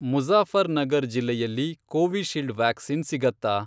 ಮುಜಾ಼ಫರ್ನಗರ್ ಜಿಲ್ಲೆಯಲ್ಲಿ Covishield vaccine ಸಿಗತ್ತಾ?